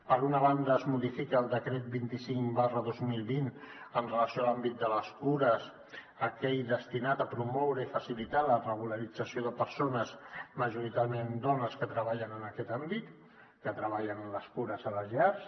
per una banda es modifica el decret vint cinc dos mil vint amb relació a l’àmbit de les cures aquell destinat a promoure i facilitar la regularització de persones majoritàriament dones que treballen en aquest àmbit que treballen en les cures a les llars